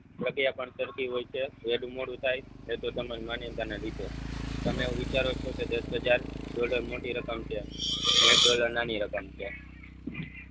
પ્રગિયા પણ તરતી હોય છે વેલુ મોડું થાય એ તો તમારી માન્યતાના લીધે તમે એવું વિચારો છો કે દસ હજાર ડોલર મોટી રકમ છે ને એક ડોલર નાની રકમ છે.